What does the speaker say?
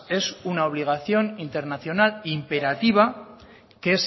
es una obligación internacional imperativa que